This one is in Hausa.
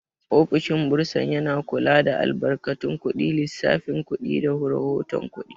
Ofishin bursar yana kula da albarkatun kuɗi, lissafin kuɗi, da rahoton kuɗi.